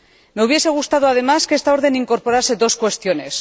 Me hubiese gustado, además, que esta orden incorporase dos cuestiones.